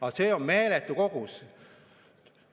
Aga see on meeletu kogus.